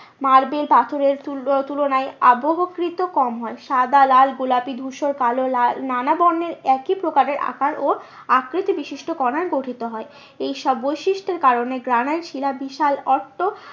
Marble পাথরের তুলনায় আবহকৃত কম হয়। সাদা লাল গোলাপি ধূসর কালো নানা বর্ণের একই প্রকারের আকার ও অকৃত বিশিষ্ট কণায় গঠিত হয়। এই সব বৈশিষ্ট্যের কারণে গ্রানাইট শিলা বিশাল